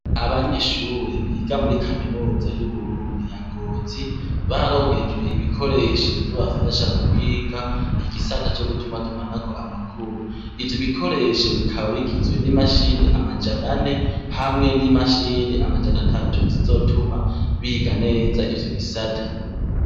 Abanyeshure biga muri kaminuza y'Uburundi ya Ngozi, bararonkejwe ibikoresho bizobafasha mu kwiga igisata co gutumatumanako amakuru. Ivyo bikoresho bikaba bigizwe n'imashini amajana ane hamwe n'imashini amajana atatu zizotuma biga neza ivyo bisata.